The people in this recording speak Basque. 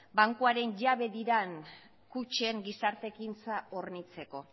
bankuaren jabe diren kutxen gizarte ekintza hornitzeko